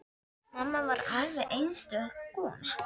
Mamma var alveg einstök kona.